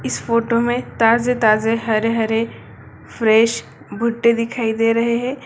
इस फोटो मे ताजे-ताजे हरे-हरे फ्रेश भुट्टे दिखाई दे रहे है।